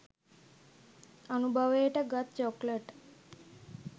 අනුභවයට ගත් චොක්ලට්